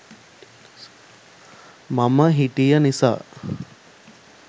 මම හිටිය නිසා